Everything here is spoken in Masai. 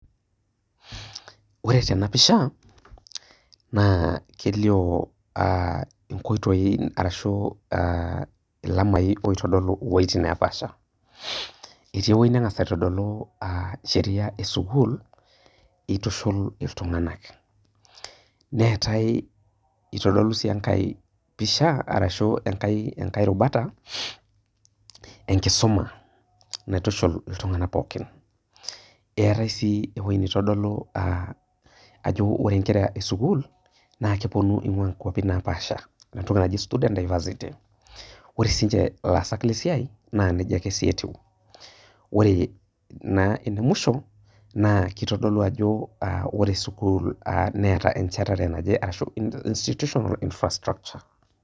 Ore tenapisha na kelio aa nkoitoi aa lamai oitodolu wueitin napasha, etii ewoi nangasa aitodolu encheria esukul itushul ltunganak, neatae itodolu sii enkae pisha ashu enkae rubata enkishui naitushul ltunganak pookin, eetai sii ewoi naitodolu ajo ore enkera esukul na keponu ingua wuetin napaasha, ore siinche laasak esiai na nejia ake etiu, ore enemwisho na kitadolu ajo ore sukul neeta enchetare naje ashu institution ama infrastructure.